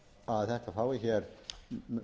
að þetta fái hér meðferð í